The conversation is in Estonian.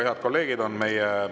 Head kolleegid!